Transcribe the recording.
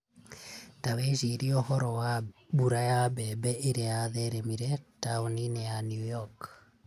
Ta wĩcirie ũhoro wa mbura ya mbembe ĩrĩa yatheremire taũni-inĩ ya New York.